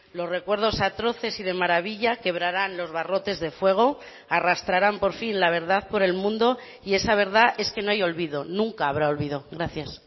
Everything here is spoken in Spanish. los recuerdos atroces y de maravilla quebrarán los barrotes de fuego arrastrarán por fin la verdad por el mundo y esa verdad es que no hay olvido nunca habrá olvido gracias